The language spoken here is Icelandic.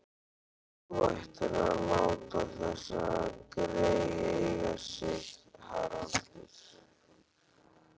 Þú ættir að láta þessi grey eiga sig, Haraldur